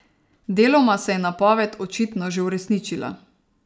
Deloma se je napoved očitno že uresničila ...